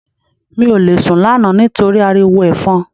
Mi ò lè sùn lánàá nítorí ariwo Ẹ̀fọn